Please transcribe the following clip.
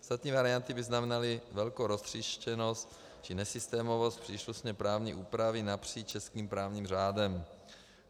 Ostatní varianty by znamenaly velkou roztříštěnost či nesystémovost příslušné právní úpravy napříč českým právním řádem.